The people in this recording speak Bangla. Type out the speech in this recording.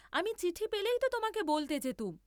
আমি চিঠি পেলেই তো তোমাকে বলতে যেতুম।